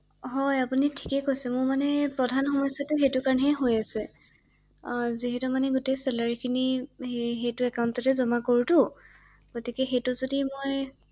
হয় আপুনি ঠিকেই কৈছে ৷মোৰ মানে প্ৰধান সমস্যাটো সেইটো কাৰণেহে হৈ আছে, যিহেতু মানে গোটেই চেলাৰি খিনি সেইটো একান্টটে জমা কৰোটো গতিকে সেইটো যদি মই